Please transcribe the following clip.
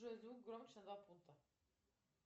джой звук громче на два пункта